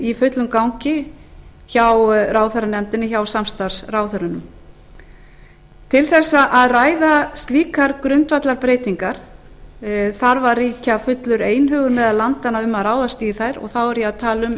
í fullum gangi hjá ráðherranefndinni hjá samstarfsráðherrunum til þess að ræða slíkar grundvallarbreytingar þarf að ríkja fullur einhugur meðal landanna um að ráðast í þær þá er ég að tala um að